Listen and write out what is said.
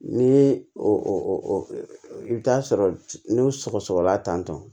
Ni o bɛ taa sɔrɔ n'o sɔgɔ sɔgɔla tan tɔ